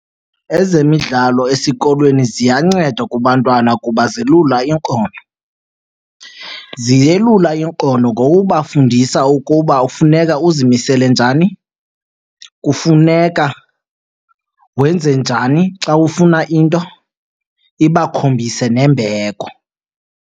Ezemidlalo esikolweni ziyanceda kubantwana kuba zilula iinkono. Ziyelula inkono ngokubafundisa ukuba kufuneka uzimisele njani, kufuneka wenze njani xa ufuna into, ibakhombise nembeko.